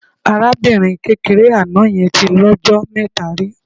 Arábìnrin kékeré àná yẹn tí lọ́jọ mẹ́ta rí.